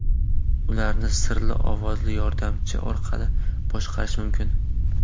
Ularni Siri ovozli yordamchi orqali boshqarish mumkin.